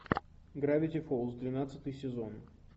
гравити фолз двенадцатый сезон